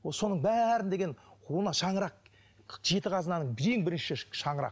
соның бәрін деген мына шаңырақ жеті қазынаның ең біріншісі шаңырақ